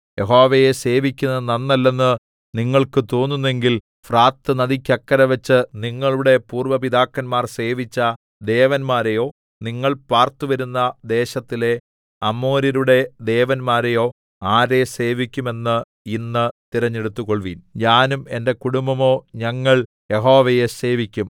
യഹോവയെ സേവിക്കുന്നതു നന്നല്ലെന്ന് നിങ്ങൾക്ക് തോന്നുന്നെങ്കിൽ ഫ്രാത്ത് നദിക്കക്കരെവെച്ച് നിങ്ങളുടെ പൂര്‍വ്വ പിതാക്കന്മാർ സേവിച്ച ദേവന്മാരെയോ നിങ്ങൾ പാർത്തുവരുന്ന ദേശത്തിലെ അമോര്യരുടെ ദേവന്മാരെയോ ആരെ സേവിക്കും എന്ന് ഇന്ന് തെരഞ്ഞെടുത്തുകൊൾവിൻ ഞാനും എന്റെ കുടുംബവുമോ ഞങ്ങൾ യഹോവയെ സേവിക്കും